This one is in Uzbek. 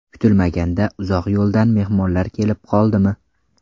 Kutilmaganda uzoq yo‘ldan mehmonlar kelib qoldimi?